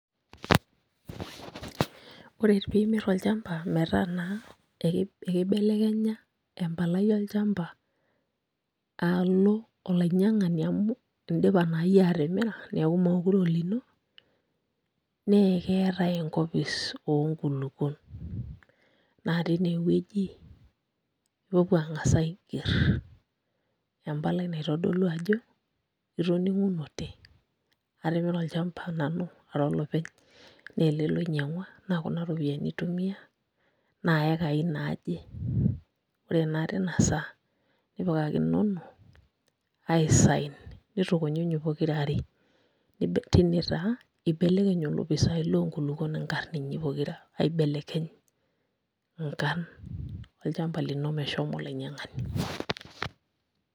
Ore piimirr olchamba metaa naa ekibelekenya empalai olchamba alo olainyiang'ani amu indipa naa iyie atimiri meekure aa olino naa keetae enkopis oonkulukuon naa tineweuji ipuopuo ang'as aigerr empalai naitodolu ajo itoning'unote atimira olachamba nanu ara olopeny naa ele loinyiang'ua naa kunaropiyiani aitumia naa iakai naaje, ore naa tina saa nipikakinono aisign nitukunyunyu pokirare tine taa ibelekeny olopisaai lonkulukuon nkarn inyi pokira, aibelekeny nkarn olchamba lino meshomo olainyiang'ani.